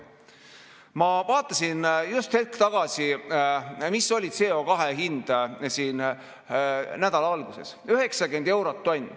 Ma vaatasin just hetk tagasi, mis oli CO2 hind siin nädala alguses – 90 eurot tonn.